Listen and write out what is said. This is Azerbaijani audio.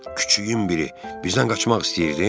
Küçüyün biri, bizdən qaçmaq istəyirdin?